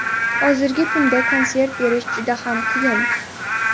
Hozirgi kunda konsert berish juda ham qiyin.